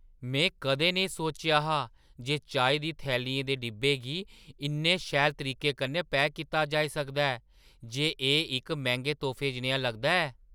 में कदें नेईं सोचेआ हा जे चाही दी थैलियें दे डब्बे गी इन्ने शैल तरीके कन्नै पैक कीता जाई सकदा ऐ जे एह् इक मैंह्‌गे तोह्फे जनेहा लगदा ऐ।